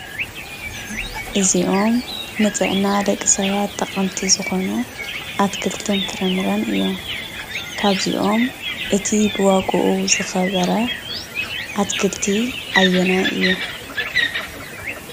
እዚኦም ንጥዕና ደቂ ሰባት ጠቐምቲ ዝኾኑ ኣትኽልትን ፍራምረን እዮም። ካብዚኦም እቲ ብዋግኡ ዝኸበረ ኣትክልቲ ኣየናነይ እዩ?